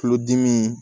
Tulodimi